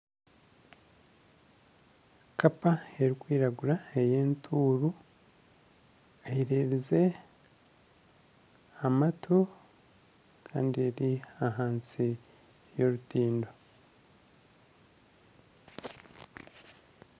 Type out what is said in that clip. Kapa erikwiragura ey'entuuru eyererize amatu kandi eri ahansi y'orutindo